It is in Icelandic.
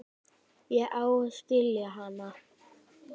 Ég á að skilja hana.